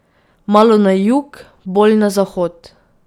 Malo na jug, bolj na zahod.